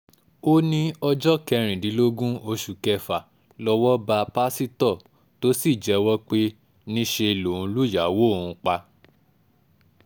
ó ní ọjọ́ kẹrìndínlógún oṣù kẹfà lọ́wọ́ bá pásítọ̀ tó sì jẹ́wọ́ pé níṣẹ́ lòun lùyàwó òun pa